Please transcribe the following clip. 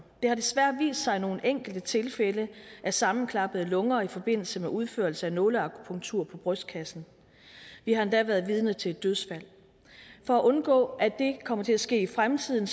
har desværre vist sig nogle enkelte tilfælde af sammenklappede lunger i forbindelse med udførelse af nåleakupunktur på brystkassen vi har endda været vidne til et dødsfald for at undgå at det kommer til at ske i fremtiden